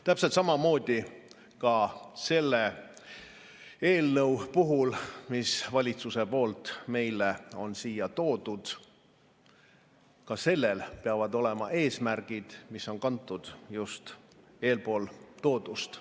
Täpselt samamoodi ka selle eelnõu puhul, mis valitsuse poolt meile siia on toodud: ka sellel peavad olema eesmärgid, mis on kantud just eespool toodust.